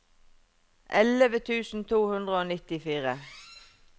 elleve tusen to hundre og nittifire